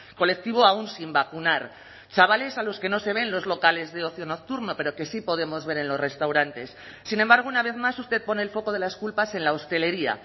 colectivo aun sin vacunar chavales a los que no se ve en los locales de ocio nocturno pero que sí podemos ver en los restaurantes sin embargo una vez más usted pone el foco de las culpas en la hostelería